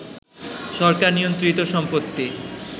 সরকার নিয়ন্ত্রিত সম্পত্তি